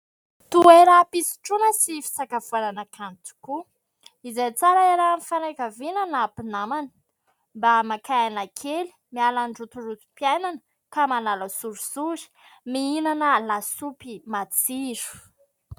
Toeram-pisotroana sy fisakafoanana kanto tokoa, izay tsara hiarahan'ny fianakaviana na mpinamana. Mba maka aina kely, miala amin'ny rotorotom-piainana, ka manala sorisory mihinana lasopy matsiro.